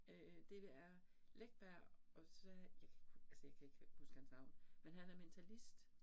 Øh det er Läckberg og så, jeg kan ikke huske altså jeg kan ikke huske hans navn, men han er mentalist